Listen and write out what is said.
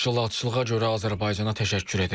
Təşkilatçılığa görə Azərbaycana təşəkkür edirəm.